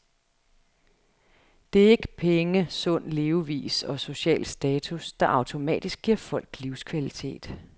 Det er ikke penge, sund levevis og social status, der automatisk giver folk livskvalitet.